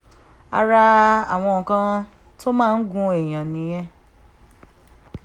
ara àwọn nǹkan tó máa ń gún èèyàn nìyẹn